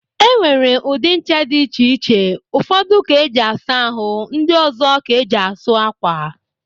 E nwere ụdị ńchà dị iche iche, ụfọdụ ka eji asa ahụ ndị ọzọ ka eji asụ ákwà.